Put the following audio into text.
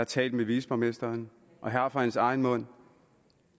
talt med viceborgmesteren og jeg har fra hans egen mund